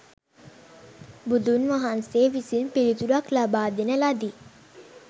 බුදුන් වහන්සේ විසින් පිළිතුරක් ලබාදෙන ලදී.